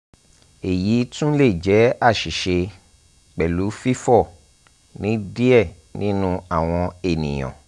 eyi tun le jẹ aṣiṣe pẹlu fifọ ni diẹ ninu awọn eniyan